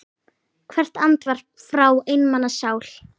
Hvert andvarp frá einmana sál.